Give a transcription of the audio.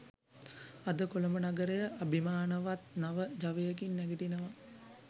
අද කොළඹ නගරය අභිමානවත් නව ජවයකින් නැගිටිනවා